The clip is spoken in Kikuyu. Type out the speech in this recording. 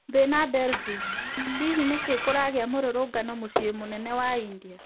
Thina Delhi:hihi nĩkĩĩ kũragia mũrũrũngano mũcii mũnene wa India?